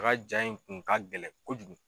A ka jaa in kun ka gɛlɛn kojugu.